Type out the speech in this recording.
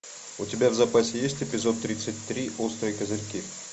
у тебя в запасе есть эпизод тридцать три острые козырьки